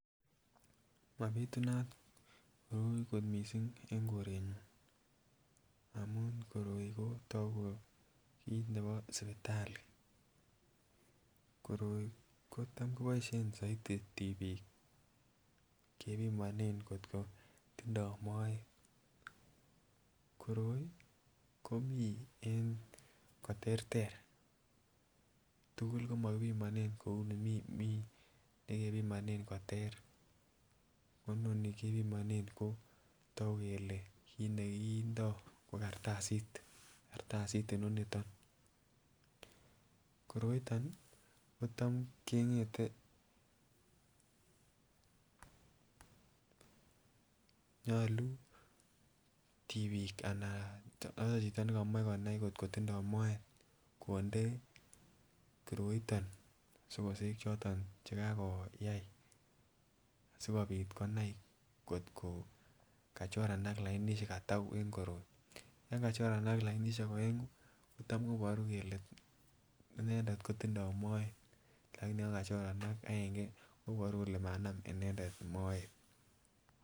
Mapitunat koroi kot missing en korenyun amun koroi ko toku ko kit nebo sipitali, koroi kotam koboishen soiti tipik kepimonet kotko tindo moet, koroi komii en koterter tukul komo kipinonen kouni Mii Mii nekipimonen ko ter ko noni kepimonen kotoku kele kit nekindo ko kartasit, kartasit inoniton. Koroiton nii kotam kengete nyolu tipik anaan ko chito nekomoche konai kotko tindo moet konde koroiton sokosek choton chekooyai sikopit konai kotko kachoranak lainishek ataku en koroi, yon kachoranak lainishek oengu kotam koboru kele, inendet kotindoi moet, lakini yon kachoranak aenge koboru kole manam inendet moet.